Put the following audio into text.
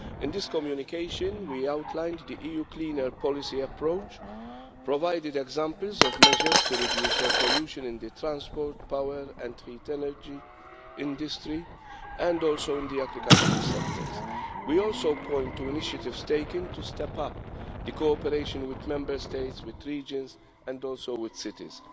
In this communication, we outlined the EU clean air policy approach, provided examples of measures to reduce air pollution in the transport, power and heat energy industry, and also in the agricultural sectors. We also point to initiatives taken to step up cooperation with Member States, with regions, and also with cities.